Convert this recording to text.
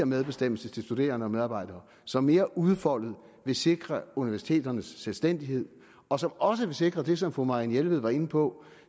medbestemmelse til studerende og medarbejdere som mere udfoldet vil sikre universiteterne selvstændighed og som også vil sikre det som fru marianne jelved var inde på